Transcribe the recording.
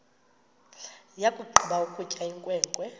yakugqiba ukutya inkwenkwe